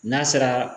N'a sera